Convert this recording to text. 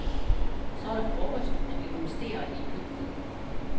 Så er det frokost og vi rumsterer i køkkenet.